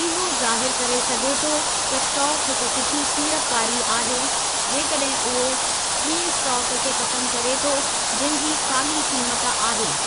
इहो ज़ाहिरु करे सघे थो त स्टाक हिक सुठी सीड़पकारी आहे, जेकॾहिं उहो ॿीं स्टाक खे ख़तमु करे थो जंहिं जी साॻी क़ीमत आहे।